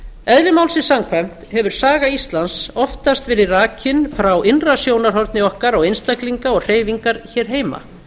eðli málsins samkvæmt hefur saga íslands oftast verið rakin frá innra sjónarhorni okkar á einstaklinga og hreyfingar hér heima